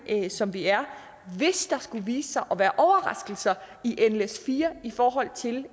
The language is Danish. som vi er hvis der skulle vise sig at være overraskelser i nles4 i forhold til